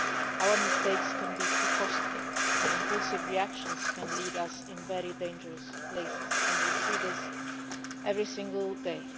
Our mistakes can be too costly, as impulsive reactions can lead us to very dangerous places, and we see this every single day.